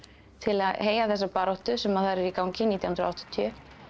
til að heyja þessa baráttu sem þar er í gangi nítján hundruð og áttatíu